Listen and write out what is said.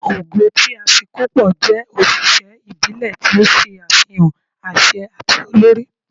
ogo ti Afikpo jẹ oṣiṣẹ ibile ti o ṣe afihan aṣẹ ati olori